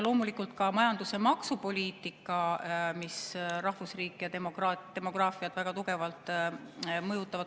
Loomulikult ka majandus- ja maksupoliitika mõjutab rahvusriiki ja demograafiat väga tugevalt.